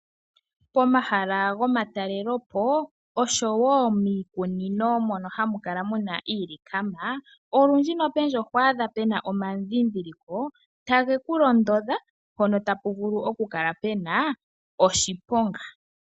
Pomahala gomatalelopo, noshowo miikunino mono hamu kala muna iilikama, olundji oho adha puna omandhindhiliko, tage kulondodha mpona tapu vulu okukala puna oshiponga.